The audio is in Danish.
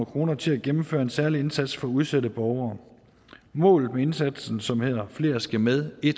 kroner til at gennemføre en særlig indsats for udsatte borgere målet med indsatsen som hedder flere skal med i